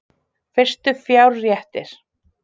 Fyrstu fjárréttir